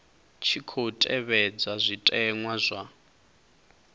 tshi khou tevhedzwa zwitenwa zwa